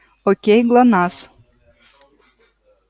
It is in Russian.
окей глонассс